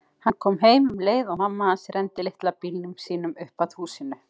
Hann kom heim um leið og mamma hans renndi litla bílnum sínum upp að húsinu.